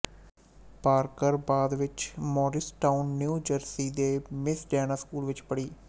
Parker ਬਾਅਦ ਵਿੱਚ Morristown New Jersey ਦੇ ਮਿਸ ਡੈਨਾ ਸਕੂਲ ਵਿੱਚ ਪੜ੍ਹੀ